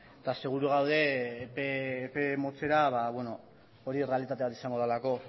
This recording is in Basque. eta seguru gaude epe motzera hori errealitate bat izango delako